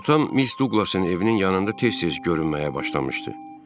Atam Miss Duqlasın evinin yanında tez-tez görünməyə başlamışdı.